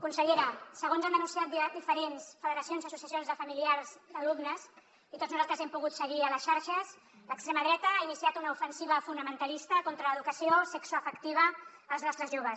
consellera segons han denunciat diferents federacions i associacions de familiars d’alumnes i tots nosaltres hem pogut seguir a les xarxes l’extrema dreta ha iniciat una ofensiva fonamentalista contra l’educació sexoafectiva als nostres joves